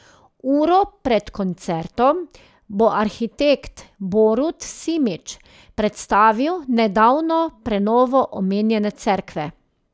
Uro pred koncertom bo arhitekt Borut Simič predstavil nedavno prenovo omenjene cerkve.